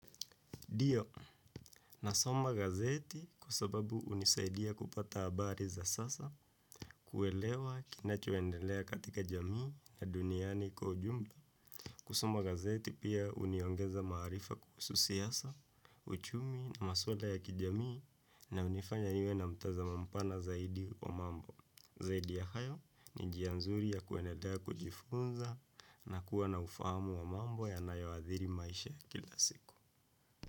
Dio, nasoma gazeti kka sababu unisaidia kupata abari za sasa kuelewa kinachoendelea katika jamii na duniani kujumla. Kusoma gazeti pia uniongeza marifa kuhusu siasa, uchumi na maswala ya kijamii na unifanya niwe na mtaza mampana zaidi wa mambo. Zaidi ya hayo ni njia nzuri ya kueneda kujifunza na kuwa na ufahamu wa mambo yanayoadhiri maisha kila siku.